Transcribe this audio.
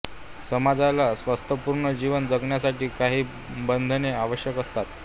समाजाला स्वस्थपुर्न जीवन जगण्यासाठी काही बंधने आवश्यक असतात